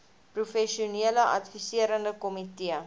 professionele adviserende komitee